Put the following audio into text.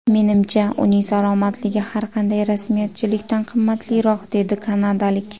Menimcha, uning salomatligi har qanday rasmiyatchilikdan qimmatliroq”, dedi kanadalik.